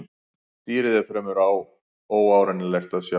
Dýrið er fremur óárennilegt að sjá.